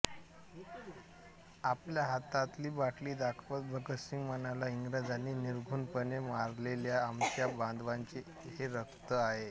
आपल्या हातातली बाटली दाखवत भगतसिंह म्हणाला इंग्रजांनी निर्घृणपणे मारलेल्या आमच्या बांधवांचे हे रक्त आहे